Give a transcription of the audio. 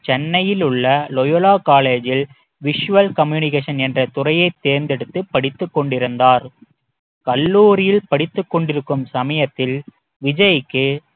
சென்னையில் உள்ள Loyola college ல் visual communication என்ற துறையை தேர்ந்தெடுத்து படித்துக் கொண்டிருந்தார் கல்லூரியில் படித்துக் கொண்டிருக்கும் சமயத்தில் விஜய்க்கு